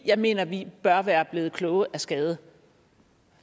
jeg mener at vi bør være blevet kloge af skade